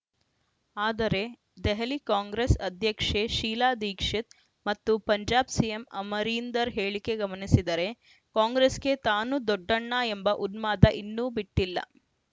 ಆದರೆ ದೆಹಲಿ ಕಾಂಗ್ರೆಸ್‌ ಅಧ್ಯಕ್ಷೆ ಶೀಲಾ ದೀಕ್ಷಿತ್‌ ಮತ್ತು ಪಂಜಾಬ್‌ ಸಿಎಂ ಅಮರೀಂದರ್‌ ಹೇಳಿಕೆ ಗಮನಿಸಿದರೆ ಕಾಂಗ್ರೆಸ್‌ಗೆ ತಾನು ದೊಡ್ಡಣ್ಣ ಎಂಬ ಉನ್ಮಾದ ಇನ್ನೂ ಬಿಟ್ಟಿಲ್ಲ